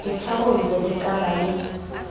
ditharollo le ka be le